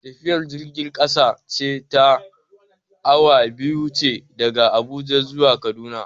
Tafiyar jirgin kasa ce ta awa biyu ce daga Abuja zuwa Kaduna.